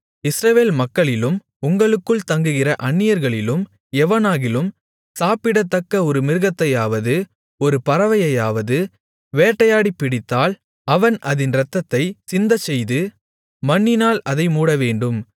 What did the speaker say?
இஸ்ரவேல் மக்களிலும் உங்களுக்குள் தங்குகிற அந்நியர்களிலும் எவனாகிலும் சாப்பிடத்தக்க ஒரு மிருகத்தையாவது ஒரு பறவையையாவது வேட்டையாடிப் பிடித்தால் அவன் அதின் இரத்தத்தைச் சிந்தச்செய்து மண்ணினால் அதை மூடவேண்டும்